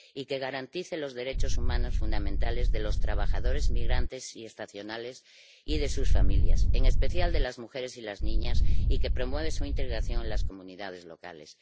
que garantice los derechos humanos fundamentales de los trabajadores migrantes y estacionales y de sus familias, en especial de las mujeres y las niñas, y que promueva su integración en las comunidades locales